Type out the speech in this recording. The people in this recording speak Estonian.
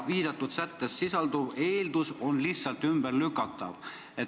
Viidatud sättes sisalduv eeldus on lihtsalt ümberlükatav.